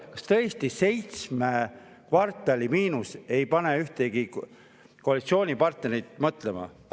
Kas tõesti seitsme kvartali miinus ei pane ühtegi koalitsioonipartnerit mõtlema?